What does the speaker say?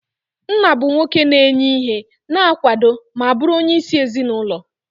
Nna bụ nwoke na-enye ihe, na-akwado ma bụrụ onyeisi ezinụlọ.